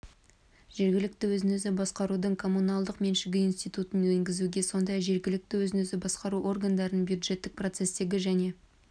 жергілікті өзін-өзі басқарудың коммуналдық меншігі институтын енгізуге сондай-ақ жергілікті өзін-өзі басқару органдарының бюджеттік процестегі және